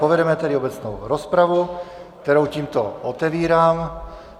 Povedeme tedy obecnou rozpravu, kterou tímto otevírám.